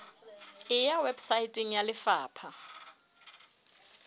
e ya weposaeteng ya lefapha